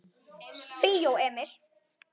Bíó Emil.